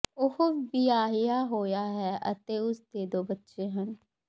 ਉਹ ਵਿਆਹਿਆ ਹੋਇਆ ਹੈ ਅਤੇ ਉਸ ਦੇ ਦੋ ਬੱਚੇ ਹਨ